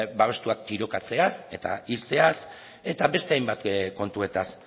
babestuak tirokatzeaz eta hiltzeaz eta beste hainbat kontuetaz